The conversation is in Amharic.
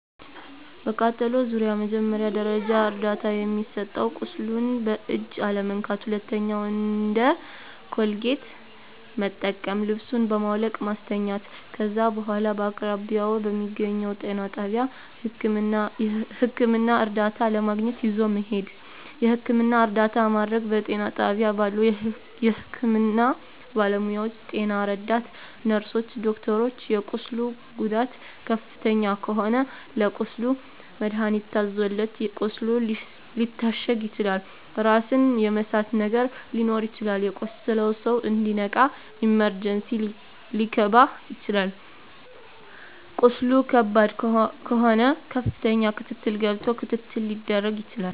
በቃጠሎ ዙሪያ መጀመሪያ ደረጃ እርዳታ የሚሰጠዉ ቁስሉን በእጅ አለመንካት ሁለተኛዉ እንደ ኮልጌት መጠቀም ልብሱን በማዉለቅ ማስተኛት ከዛ በኋላ በአቅራቢያዎ በሚገኘዉ ጤና ጣቢያ ህክምና እርዳታ ለማግኘት ይዞ መሄድ የህክምና እርዳታ ማድረግ በጤና ጣቢያ ባሉ የህክምና ባለሞያዎች ጤና ረዳት ነርስሮች ዶክተሮች የቁስሉ ጉዳት ከፍተኛ ከሆነ ለቁስሉ መድሀኒት ታዞለት ቁስሉ ሊታሸግ ይችላል ራስን የመሳት ነገር ሊኖር ይችላል የቆሰለዉ ሰዉ እንዲነቃ ኢመርጀንሲ ሊከባ ይችላል ቁስሉ ከባድ ከሆነ ከፍተኛ ክትትል ገብቶ ክትትል ሊደረግ ይችላል